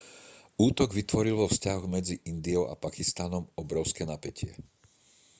útok vytvoril vo vzťahoch medzi indiou a pakistanom obrovské napätie